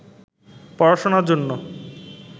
পড়াশোনার জন্য